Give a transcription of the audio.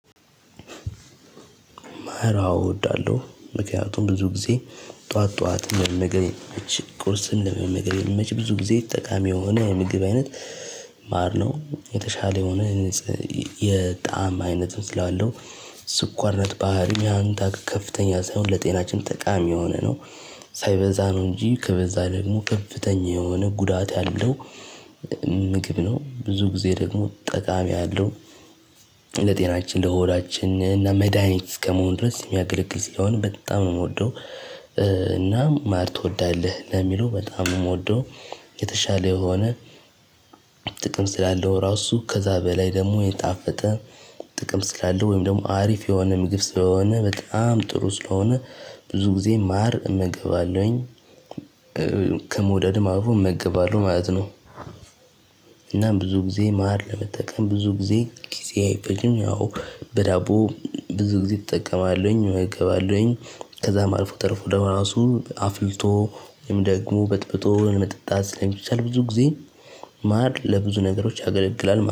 ማር አዎ እወዳለሁ ምክንያቱም ብዙ ጊዜ ጠዋት ጠዋት መመገብ ቁርስ ለመመገብ ሚመች ብዙ ጊዜ ጠቃሚ የሆነ ምግብ አይነት። ማር ነው የተሻለ የሆነ የ የጣዕም አይነት ስላለው ስኳርነት ባህሪ ያን ከፍተኛ ሳይሆን ለጤናችን ጠቃሚ የሆነ ነው። ሳይበዛ ነው እንጂ ከበዛ ደግሞ ከፍተኛ የሆነ ጉዳት አለው። ምግብ ነው ብዙ ጊዜ ደግሞ ጠቃሚ አለው። ለጤናችን ለሆዳችን እና መድሃኒት እስከመሆን ድረስ የሚያገለግል ሲሆን በጣም ነው የምወደው። እና ማር ትወዳለህ ነው የሚለው በጣም የምወደው። የተሻለ የሆነ ጥቅም ስላለው ራሱ ከዛ በላይ ደግሞ የጣፈጠ ጥቅም ስላለ ወይም ደግሞ አሪፍ የሆነ ምግብ ስለሆነ በጣም ጥሩ ስለሆነ። ብዙ ጊዜ ማር እመገባለሁኝ ከመውደድም አልፎ እመገባለሁ ማለት ነው። እና ብዙ ጊዜ ማር ለመጠቀም ብዙ ጊዜ ጊዜ አይፈጅም ያው በዳቦ ብዙ ጊዜ እጠቀማለሁኝ እገባለሁኝ። ከዛም አልፎ ተርፎ ደግሞ ራሱ አፍልቶ ወይም ደግሞ በጥብጦ መጠጣት ስለሚቻል ብዙ ጊዜ ማር ለብዙ ነገሮች ያገለግላል